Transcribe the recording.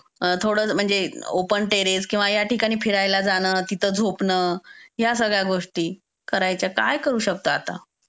थोडं म्हणजे open terrace किंवा या ठिकाणी फिरायला जाणं, तिथे झोपन. या सगळ्या गोष्टी करायच्या. काय करू शकता आता?